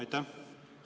Aitäh!